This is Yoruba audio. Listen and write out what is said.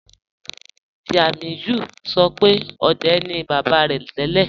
Tiamiyu sọ̀ pẹ̀ ọ̀dẹ̀ ni baba rẹ̀ tẹlẹ́.